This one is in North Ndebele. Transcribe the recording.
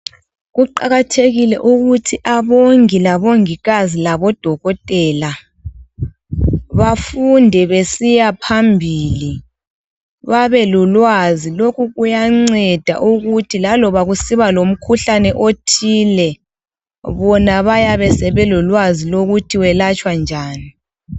Kuqakathekile ukuthi abongi labongikazi labodokotela bafunde besiyaphambili babelolwazi. Lokhu kuyanceda ukuthi laloba kusibalomkhuhlane othile, bona bayabe sebelolwazi lokuthi welatshwa njani.